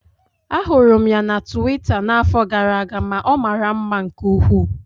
Ahụrụ m ya na tuwita n'afọ gara aga ma ọ mara mma nke ukwuu.